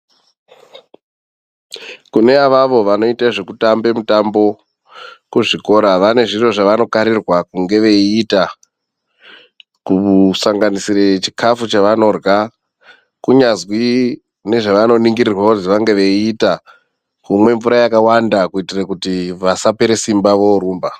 Kune avavo vanoite zvekutambe mutambo kuzvikora vane zviro zvavanokarirwa kuti vange veiita. Kusanganisira chikafu chavanorya. Kunyazwi nezvavanoningirirwa kuzi vange veiita, kumwe mvura yakawanda kuitire kuti vasapera simba voorumba.